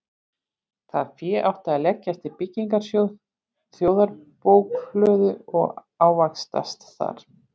Það fé átti að leggjast í byggingarsjóð þjóðarbókhlöðu og ávaxtast þar.